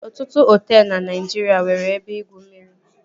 Ọtụtụ hoteelu na Naijiria nwere ebe igwu mmiri